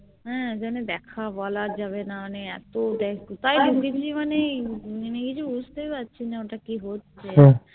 হ্যাঁ যেন দেখা বলা যাবেনা মানে এতো কোথায় ঢুকেছি মানে আমি কিছু বুঝতেই পারছি না ওটা কি হচ্ছে